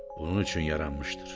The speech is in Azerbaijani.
Bunun üçün yaranmışdır.